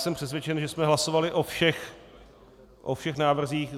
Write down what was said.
Jsem přesvědčen, že jsme hlasovali o všech návrzích.